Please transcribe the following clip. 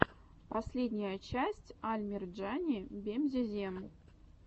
последняя часть аль мерджани бемзезем